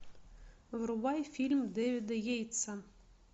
врубай фильм дэвида йейтса